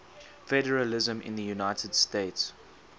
federalism in the united states